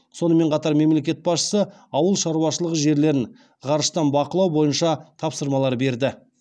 сонымен қатар мемлекет басшысы ауыл шаруашылығы жерлерін ғарыштан бақылау бойынша тапсырмалар берді